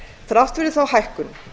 þrátt fyrir þá hækkun